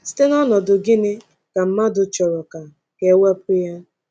Site n’ọnọdụ gịnị ka mmadụ chọrọ ka ka e wepụ ya?